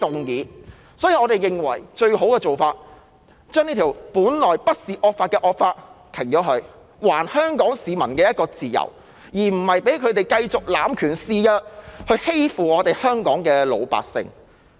因此，我們認為最佳做法是，中止這項本來不是惡法的惡法，還香港市民自由，不讓政府繼續濫權肆虐，欺負香港的老百姓。